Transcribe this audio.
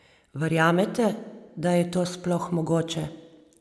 Verjamete, da je to sploh mogoče?